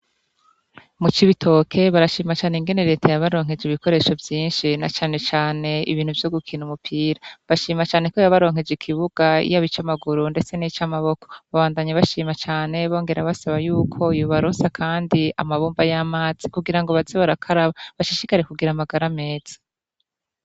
Mu cibitoke barashima cane ingene reta yabaronkeje ibikoresho vyinshi na cane cane ibintu vyogukina umupira, bashika cane ingene yabaronkeje ikibuga yaba icamaguru ndetse n'icamaboko, babandanya bashima cane bongera basaba yuko yobaronsa kandi amabomba y'amazi kugirango baze barakaraba bashishikare kugira amagara meza.